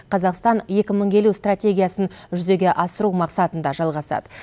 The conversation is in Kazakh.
қазақстан екі мың елу стратегиясын жүзеге асыру мақсатында жалғасады